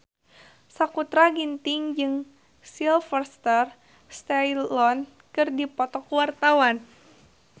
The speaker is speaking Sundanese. Sakutra Ginting jeung Sylvester Stallone keur dipoto ku wartawan